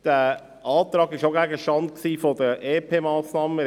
Wie wir bereits gehört haben, war dieser Antrag auch Gegenstand der EP-Massnahmen.